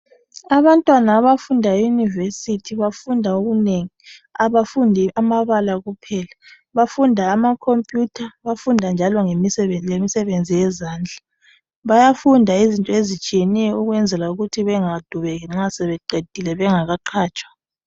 Abantwana abafunda eyunivesithi bafunde okunengi, abafundi amabala kuphela . Bafunda amakhophiyutha bafunde njalo ngemisenzi yezandla. Bayafunda izinto ezitshiyeneyo ukwenzela ukuthi bengadubeki nxa beseqefile bengakaqatshwa.